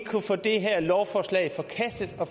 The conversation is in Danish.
få det her lovforslag forkastet og